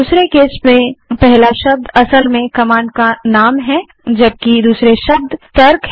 दूसरे केस में पहला शब्द कमांड का वास्तविक नाम है जबकि अन्य शब्द तर्क हैं